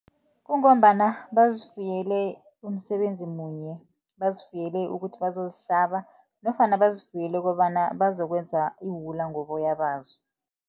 Kungombana bazifuyele umsebenzi munye bazifuyele ukuthi bazozihlaba nofana bazifuyele kobana bazokwenza iwula ngoboya bazo.